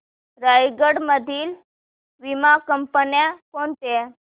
रायगड मधील वीमा कंपन्या कोणत्या